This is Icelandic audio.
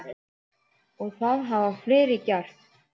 Og það hafa fleiri gert.